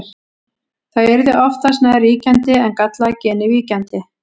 það yrði oftast nær ríkjandi en gallaða genið víkjandi